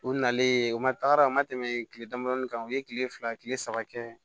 O nalen o ma taga ma tɛmɛ kile damadɔnin kan u ye kile fila kile saba kɛ